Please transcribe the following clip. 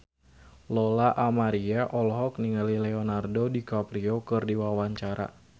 Lola Amaria olohok ningali Leonardo DiCaprio keur diwawancara